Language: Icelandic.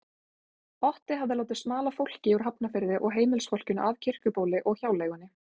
Otti hafði látið smala fólki úr Hafnarfirði og heimilisfólkinu af Kirkjubóli og hjáleigunni.